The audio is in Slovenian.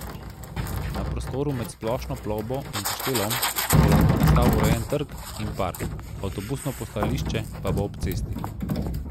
Na prostoru med Splošno plovbo in Kaštelom bo lahko nastal urejen trg in park, avtobusno postajališče pa bo ob cesti.